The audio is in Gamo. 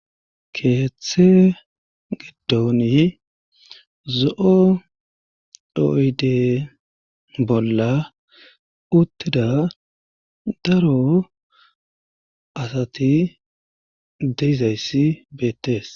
keeththe giddoni zo7o oyde bolla uttida daro asati de'izayssi beettees